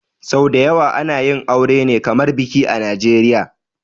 Sau dayawa ana yin aure ne kamar biki a najeria